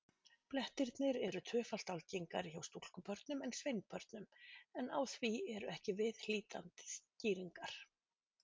Blettirnir eru tvöfalt algengari hjá stúlkubörnum en sveinbörnum, en á því eru ekki viðhlítandi skýringar.